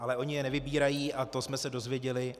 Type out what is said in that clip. Ale oni je nevybírají a to jsme se dozvěděli.